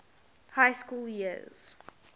high school years